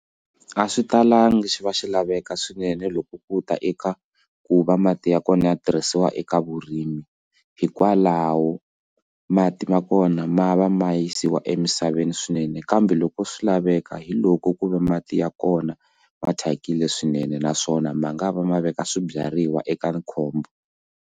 A swi talanga xi va xi laveka swinene loko ku ta eka ku va mati ya kona ya tirhisiwa eka vurimi hikwalaho mati ma kona ma va ma yisiwa emisaveni swinene kambe loko swi laveka hi loko ku ve mati ya kona ma thyakile swinene naswona ma nga va ma veka swibyariwa eka khombo.